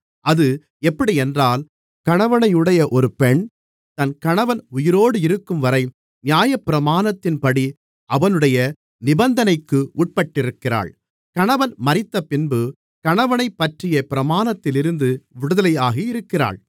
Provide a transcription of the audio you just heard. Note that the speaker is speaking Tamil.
அது எப்படியென்றால் கணவனையுடைய ஒரு பெண் தன் கணவன் உயிரோடிருக்கும்வரை நியாயப்பிரமாணத்தின்படி அவனுடைய நிபந்தனைக்கு உட்பட்டிருக்கிறாள் கணவன் மரித்தபின்பு கணவனைப்பற்றிய பிரமாணத்திலிருந்து விடுதலையாகி இருக்கிறாள்